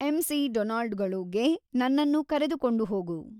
M. C. ಡೊನಾಲ್ಡ್ಗಳು ಗೆ ನನ್ನನ್ನು ಕರೆದುಕೊಂಡು ಹೋಗು